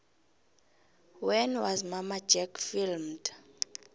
when was mamma jack filmed